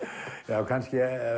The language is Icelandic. já kannski